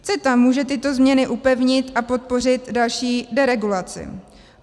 CETA může tyto změny upevnit a podpořit další deregulaci.